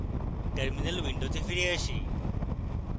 terminal window ফিরে আসি